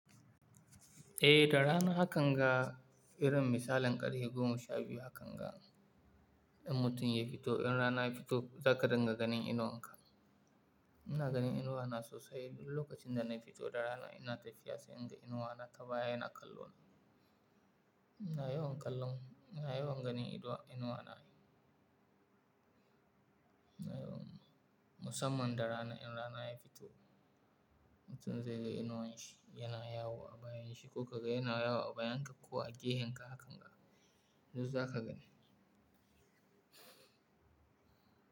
Eh da rana hakan ga irin misalin ƙari goma sha biyu hakan ga ɗan mutum ya fito in rana ya fito zaka dinga ganin inuwa haka. Ina ganin inuwa na sosai duk lokacin da na fito da rana ina tafiya sai in ga inuwa na ta baya ina kallo na. Ina yawan kallon, ina yawan ganin inuwa na. Ina yawan musamman da rana in rana ya fito mutum zai ga inuwan shi yana yawo a bayan shi ko ka ga yana yawo a bayan ka ko a gehen ka hakan ga, yanzu zaka gani.